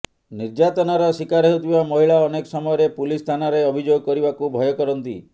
ନିର୍ଯାତନାର ଶିକାର ହେଉଥିବା ମହିଳା ଅନେକ ସମୟରେ ପୁଲିସ୍ ଥାନାରେ ଅଭିଯୋଗ କରିବାକୁ ଭୟ କରନ୍ତି